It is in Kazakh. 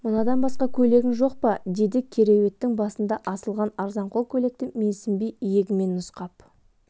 мынадан басқа көйлегің жоқ па деді кереуеттің басында асылған арзанқол көйлекті менсінбей иегімен нұсқап